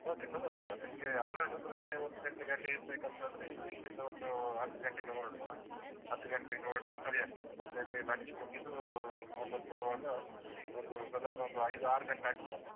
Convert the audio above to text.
Okay ತೊಂದ್ರೆ ಇಲ್ಲ. ನಿಮ್ಗೆ ಹನ್ನೆರಡೂವರೆ ಒಂದು ಗಂಟೆಗೆ ಅಲ್ಲಿ ಇರ್ಬೇಕಂತಾದ್ರೆ ಇಲ್ಲಿ ಇಲ್ಲಿಂದ ಒಂದು ಹತ್ತು ಗಂಟೆಗೆ ಹೊರಡುವ, ಹತ್ತು ಗಂಟೆಗೆ ಹೊರಟ್ರೆ ಸರಿಯಾಗ್ತದೆ, ಮತ್ತೆ ಅಲ್ಲಿ lunch ಮುಗಿದು ವಾಪಸ್ ಬರುವಾಗ ಒಂದು ಸದಾರ್ನ ಒಂದು ಐದು ಆರು ಗಂಟೆ ಆಗ್ತದಲ್ಲ.